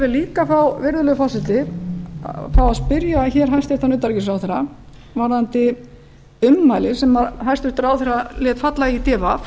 líka virðulegi forseti fá að spyrja hæstvirtan utanríkisráðherra varðandi ummæli sem hæstvirtur ráðherra lét falla í d v